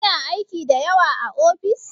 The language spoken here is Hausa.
Kina aiki da yawa a ofis?